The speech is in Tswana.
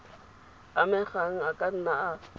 amegang a ka nna a